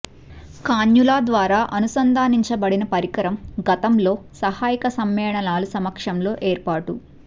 cannula ద్వారా అనుసంధానించబడిన పరికరం గతంలో సహాయక సమ్మేళనాలు సమక్షంలో ఏర్పాటు